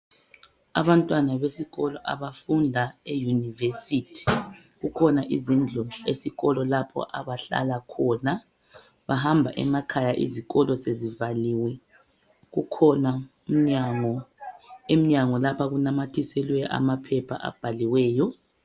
Abantwana besikolo abafunda eyunivesithi kukhona izindku esikolo lapho abahlala khona . Bahamba emakhaya izikolo sezivaliwe ,kukhona iminyango lapho okunamathiselwe khona maphepha abhaliweyo.